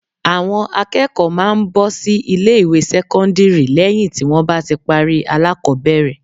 Àwọn akẹ́kọ̀ọ́ máa ń bọ́ sí ilé ìwé sẹ́kọ́ndírì lẹ́hìn tí wọ́n bá parí alákọbẹ̀rẹ̀.